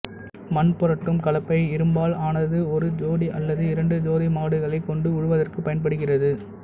மண் புரட்டும் கலப்பை இரும்பால் ஆனது ஒரு ஜோடி அல்லது இரண்டு ஜோடி மாடுகளைக் கொண்டு உழுவதற்கு பயன்படுகிறது